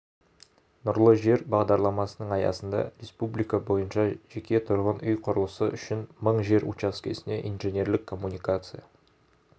нұрлы жер бағдарламасының аясында республика бойынша жеке тұрғын үй құрылысы үшін мың жер учаскесіне инженерлік коммуникация